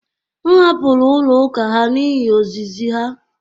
M hapụrụ ụlọ ụka ha n’ihi ozizi ha